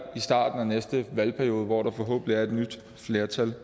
i starten af næste valgperiode hvor der forhåbentlig er et nyt flertal